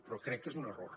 però crec que és un error